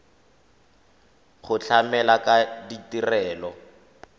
go tlamela ka ditirelo tsa